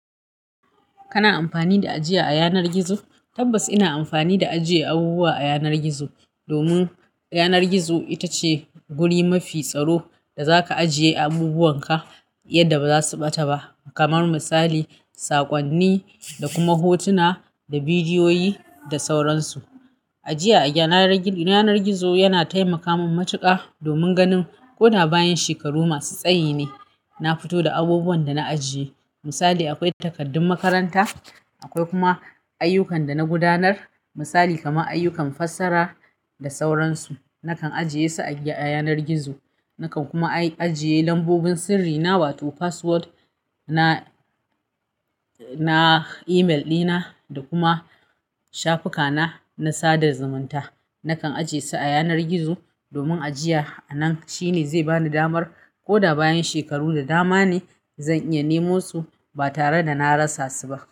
Kana amfani da ajiya a yanar gizo? Tabbas ina amfani da ajiye abubuwa a yanar gizo, domin yanar gizo ita ce guri mafi tsaro da za ka ajiye abubuwanka yadda ba za su ɓata ba. Kamar misali, saƙonni da kuma hotuna da bidiyoyi da sauran su. Ajiya a yanar gizo yana taimaka mun matuƙa domin ganin ko da bayan shekaru masu tsayi ne, na fito da abubuwan da na ajiye. Misali, akwai takardun makaranta, akwai kuma ayyukan da na gudanar. Misali kamar ayyukan fassara da sauran su, nakan ajiye su a yanar gizo. Nakan kuma ajiye lambobin sirri na, wato password na email ɗina da kuma shafuka na, na sada zumunta. Nakan ajiye su a yanar gizo domin ajiya a nan shine zai bani damar ko da bayan shekaru da dama ne, zan iya nemo su ba tare da na rasa su ba.